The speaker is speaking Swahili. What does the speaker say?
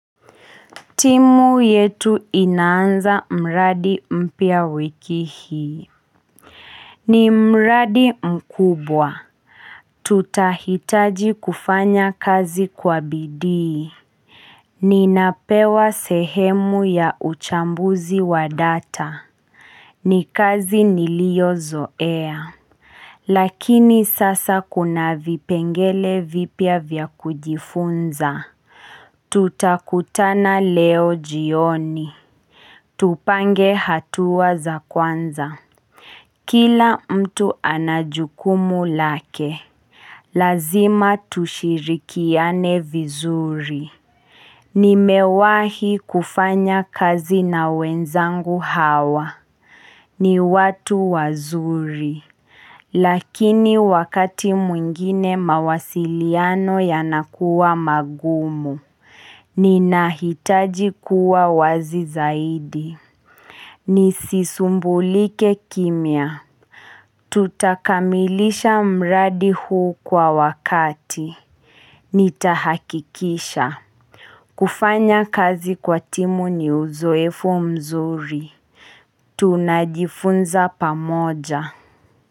Timu yetu inanza mradi mpia wiki hii. Ni mradi mkubwa. Tutahitaji kufanya kazi kwa bidii Ninapewa sehemu ya uchambuzi wa data. Ni kazi niliyo zoea. Lakini sasa kuna vipengele vipya vya kujifunza. Tutakutana leo jioni. Tupange hatua za kwanza. Kila mtu anajukumu lake. Lazima tushirikiane vizuri. Nimewahi kufanya kazi na wenzangu hawa. Ni watu wazuri. Lakini wakati mwingine mawasiliano yanakuwa magumu. Ninahitaji kuwa wazi zaidi. Ni sisumbulike kimya Tutakamilisha mradi huu kwa wakati Nitahakikisha kufanya kazi kwa timu ni uzoefo mzuri Tunajifunza pamoja.